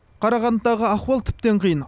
қарағандыдағы ахуал тіптен қиын